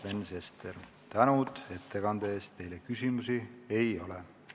Juhtivkomisjoni ettepanek on eelnõu 795 esimene lugemine lõpetada.